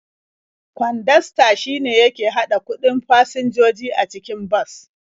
Kwandasta shine yake haɗa kuɗin fasinjoji a cikin bas.